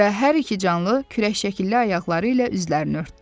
Və hər iki canlı kürək şəkilli ayaqları ilə üzlərini örtdü.